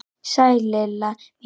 Sæl Lilla mín!